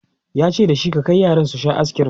yace da shi"ka Kai yaran su Sha ayiskirim!"